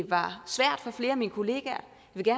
var svært for flere af mine kollegaer